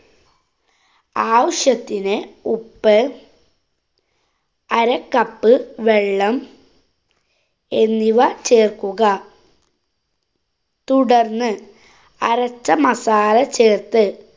ആവശ്യത്തിനു ഉപ്പ്, അര cup വെള്ളം, എന്നിവ ചേര്‍ക്കുക, തുടര്‍ന്ന് അരച്ച മസാല ചേര്‍ത്ത്